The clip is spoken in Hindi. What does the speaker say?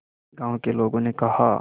गांव के लोगों ने कहा